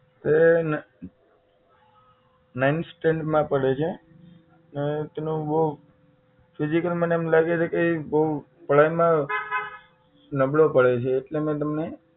એ ને nine stand માં પઢે છે ને તેનું બહુ physical મને એમ લાગે છે કે એ બહુ પઢાઈ માં નબળો પડ્યો છે એટલે મેં તમને